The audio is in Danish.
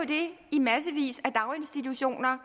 det i massevis af daginstitutioner